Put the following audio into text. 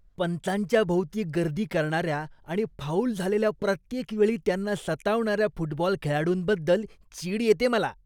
पंचांच्या भोवती गर्दी करणाऱ्या आणि फाऊल झालेल्या प्रत्येक वेळी त्यांना सतावणाऱ्या फुटबॉल खेळाडूंबद्दल चीड येते मला.